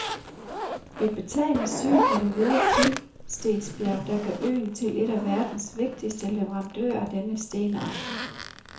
Et betagende syn er det hvide pimpstensbjerg, der gør øen til en af verdens vigtigste leverandører af denne stenart.